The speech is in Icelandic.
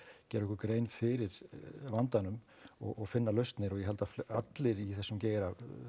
gera okkur grein fyrir vandanum og finna lausnir og ég held að allir í þessum geira